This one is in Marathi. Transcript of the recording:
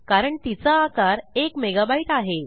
कारण तिचा आकार एक मेगाबाईट आहे